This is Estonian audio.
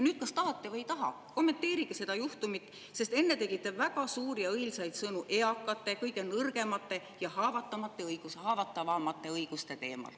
Kas tahate või ei taha, kommenteerige seda juhtumit, sest te enne tegite väga suuri ja õilsaid sõnu eakate, kõige nõrgemate ja haavatavamate õiguste teemal.